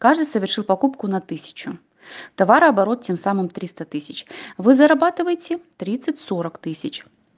каждый совершил покупку на тысячу товарооборот тем самым триста тысяч вы зарабатываете тридцать сорок тысяч